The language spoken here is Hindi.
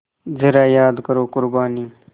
ज़रा याद करो क़ुरबानी